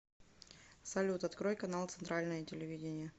салют открой канал центральное телевидение